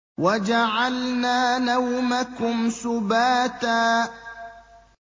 وَجَعَلْنَا نَوْمَكُمْ سُبَاتًا